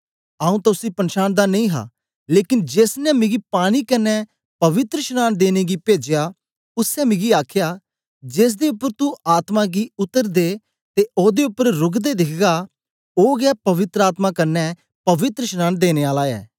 आऊँ तां उसी पनछांनदा नेई हा लेकन जेस ने मिगी पानी कन्ने पवित्रशनांन देने गी पेजया उसै मिगी आखया जेसदे उपर तू आत्मा गी उतरदे ते ओदे उपर रुकदै दिखगा ओ गै पवित्र आत्मा कन्ने पवित्रशनांन देने आला ऐ